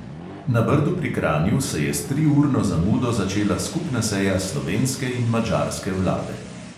Na brdu pri kranju se je s triurno zamudo začela skupna seja slovenske in madžarske vlade.